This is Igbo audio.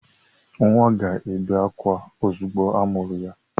Nwa ga-ebe ákwá ozugbo amụrụ ya.